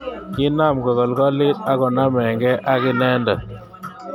Kinam kokolkolit akonamge ak inendet.